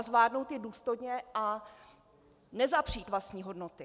A zvládnout ji důstojně a nezapřít vlastní hodnoty.